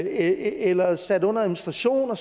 eller sat under administration